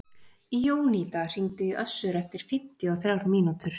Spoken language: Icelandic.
Jónída, hringdu í Össur eftir fimmtíu og þrjár mínútur.